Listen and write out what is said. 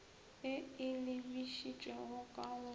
e e lebišitšego ka go